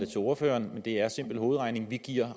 til ordføreren det er simpel hovedregning vi giver